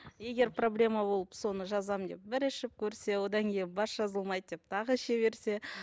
егер проблема ол соны жазамын деп бір ішіп көрсе одан кейін бас жазылмайды деп тағы іше берсе